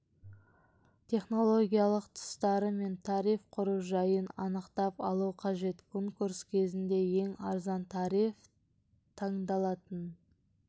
технологиялық тұстары мен тариф құру жайын анықтап алу қажет конкурс кезінде ең арзан тариф таңдалатын